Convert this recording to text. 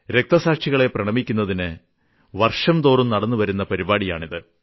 രക്തസാക്ഷികളെ പ്രണമിക്കുന്നതിന് വർഷംതോറും നടന്നുവരുന്ന പരിപാടിയാണിത്